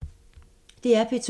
DR P2